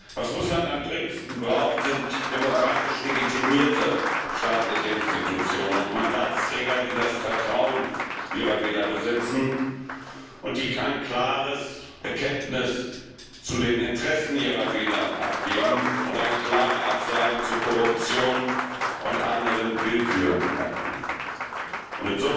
Was Russland am dringendsten braucht, sind demokratisch legitimierte staatliche Institutionen und Mandatsträger, die das Vertrauen ihrer Wähler besitzen und die ein klares Bekenntnis zu den Interessen ihrer Wähler abgeben und der Korruption und anderen Willkürakten eine klare Absage erteilen.